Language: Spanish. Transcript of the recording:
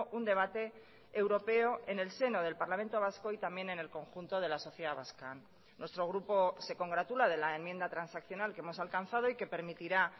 un debate europeo en el seno del parlamento vasco y también en el conjunto de la sociedad vasca nuestro grupo se congratula de la enmienda transaccional que hemos alcanzado y que permitirá